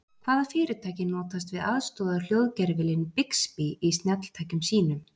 Hvaða fyrirtæki notast við aðstoðarhljóðgervilinn Bixby í snjalltækjum sínum?